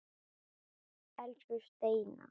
Elsku Steina.